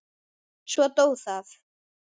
Svo dó það.